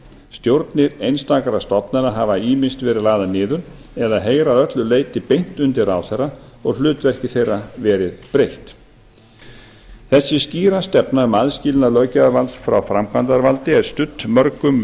stjórnir einstakra stofnana hafa ýmist verið lagðar niður eða heyra að öllu leyti beint undir ráðherra og hlutverki þeirra verið breytt þessi skýra stefna um aðskilnað löggjafarvalds frá framkvæmdarvaldi er studd mörgum